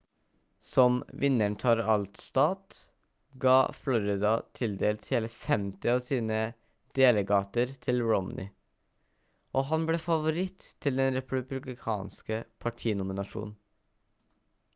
som vinneren tar alt-stat ga florida tildelt hele 50 av sine delegater til romney og han ble favoritt til den republikanske partinominasjonen